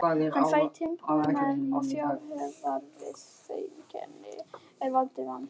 Hann fær timburmenn og fráhvarfseinkenni er valda vanlíðan.